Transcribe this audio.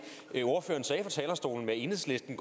det er enhedslisten